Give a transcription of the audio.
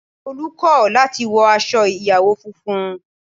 Tolu kò láti wọ aṣọ ìyàwó funfun